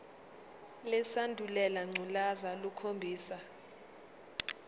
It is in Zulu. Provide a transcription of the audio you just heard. lesandulela ngculazi lukhombisa